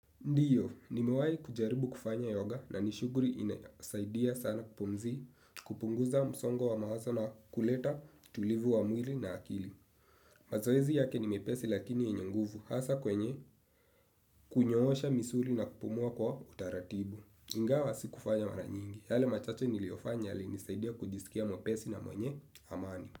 Ndiyo, nimewai kujaribu kufanya yoga na ni shughuli inasaidia sana kupumzi kupunguza msongo wa mawazo na kuleta utulivu wa mwili na akili. Mazoezi yake ni mepesi lakini yenye nguvu hasa kwenye kunyoosha misuli na kupumua kwa utaratibu. Ingawa sikufanya mara nyingi. Yale machache niliyofanya yalinisaidia kujisikia mwepesi na mwenye amani.